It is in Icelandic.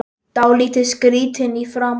Dálítið skrýtin í framan.